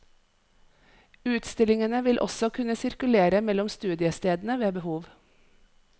Utstillingene vil også kunne sirkulere mellom studiestedene ved behov.